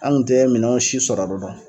An kun tɛ minɛnw si sɔrɔ dɔn.